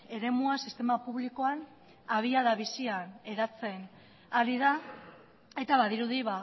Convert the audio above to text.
eremua sistema publikoan abiada bizian hedatzen ari da eta badirudi